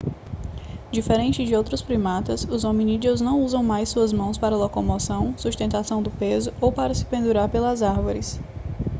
diferente de outros primatas os hominídeos não usam mais suas mãos para locomoção sustentação do peso ou para se pendurar pelas árvores